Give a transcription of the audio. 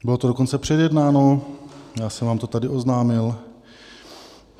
Bylo to dokonce předjednáno, já jsem vám to tady oznámil.